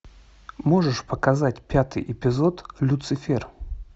можешь показать пятый эпизод люцифер